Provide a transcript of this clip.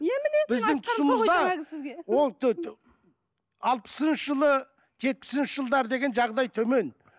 алпысыншы жылы жетпісінші жылдар деген жағдай төмен